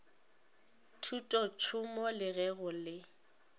thutotšhomo le ge go le